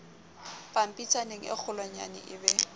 pampitshaneng e kgolwanyane e be